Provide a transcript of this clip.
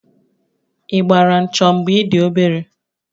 Ị gbara 'ncho' mgbe ị dị obere?